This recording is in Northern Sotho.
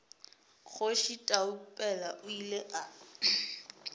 kgoši taupela o ile a